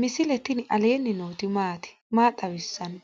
misile tini alenni nooti maati? maa xawissanno?